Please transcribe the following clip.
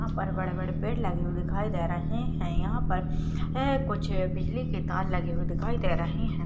यहाँ पर बड़े-बड़े पेड़ लगे हुए दिखाई दे रहे है यहां पर ए कुछ बिजली के तार लगे हुए दिखाई दे रहे हैं।